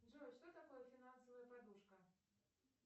джой что такое финансовая подушка